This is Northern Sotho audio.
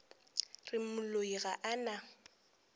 re moloi ga a na